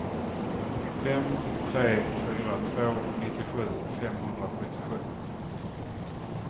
fem tre fyra två nittiosju femhundrasjuttiosju